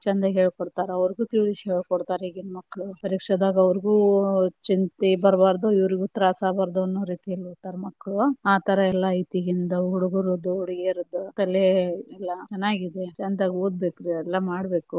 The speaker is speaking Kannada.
ಚೆಂದ ಹೇಳಿಕೊಡ್ತಾರ ಅವ್ರಿಗೂ ತಿಳಿಸಿ ಹೇಳಿ ಕೊಡ್ತಾರೇ ಈಗಿನ ಮಕ್ಳ ಪರೀಕ್ಷೆದಾಗ ಅವ್ರಿಗೂ ಚಿಂತಿ ಬರ್ಬಾರ್ದು, ಇವ್ರಿಗೂ ತ್ರಾಸ ಆಗ್ಬಾರ್ದ ಅನ್ನೂ ರೀತಿಯಲ್ಲಿ ಇರ್ತಾರ ಮಕ್ಕಳು, ಆತರಯೆಲ್ಲ ಐತಿ ಇಗಿಂದ ಹುಡುಗುರದ ಹುಡಿಗ್ಯಾರಾದ, ಕಲೆ ಎಲ್ಲಾ ಚನ್ನಾಗಿದೆ ಚೆಂದ ಓದ ಬೇಕ ಎಲ್ಲಾ ಮಾಡಬೇಕು.